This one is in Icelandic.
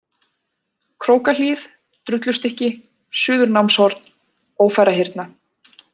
Krókahlíð, Drullustykki, Suðurnámshorn, Ófærahyrna